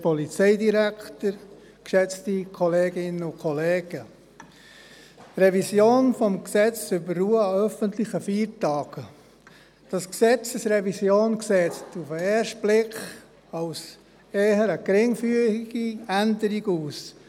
der SiK. Zur Revision des Gesetzes über die Ruhe an öffentlichen Feiertagen: Diese Gesetzesrevision sieht auf den ersten Blick nach einer eher geringfügigen Änderung aus.